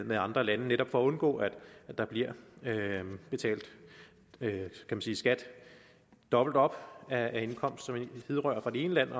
med andre lande netop for at undgå at der bliver betalt skat dobbeltop af indkomst som hidrører fra det ene land